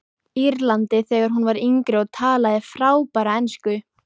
Írlandi þegar hún var yngri og talaði frábæra ensku.